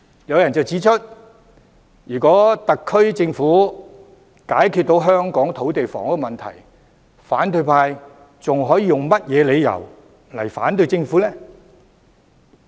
有人指出如果特區政府能解決香港的土地房屋問題，反對派還有何理由反對政府呢？